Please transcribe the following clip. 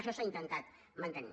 això s’ha intentat mantenir